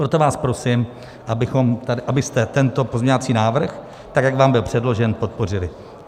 Proto vás prosím, abyste tento pozměňovací návrh tak, jak vám byl předložen, podpořili.